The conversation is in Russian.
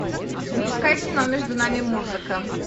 запускай кино между нами музыка